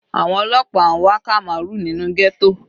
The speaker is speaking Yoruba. Àwọn ọlọ́pàá n wá Kamaru nínú ghetto.